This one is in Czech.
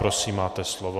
Prosím, máte slovo.